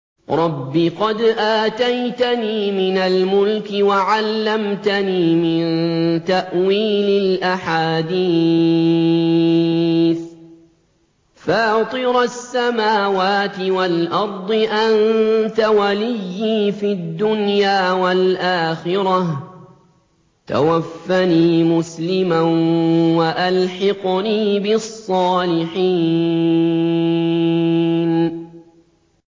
۞ رَبِّ قَدْ آتَيْتَنِي مِنَ الْمُلْكِ وَعَلَّمْتَنِي مِن تَأْوِيلِ الْأَحَادِيثِ ۚ فَاطِرَ السَّمَاوَاتِ وَالْأَرْضِ أَنتَ وَلِيِّي فِي الدُّنْيَا وَالْآخِرَةِ ۖ تَوَفَّنِي مُسْلِمًا وَأَلْحِقْنِي بِالصَّالِحِينَ